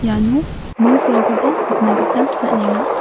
ano nokrangkoba nikna gita man·enga.